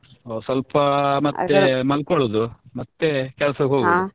ಸ್ವಲ್ಪ ಮತ್ತೆ ಮಲ್ಕೊಳೋದು ಮತ್ತೆ ಕೆಲಸಕ್ಕೆ ಹೋಗುದು .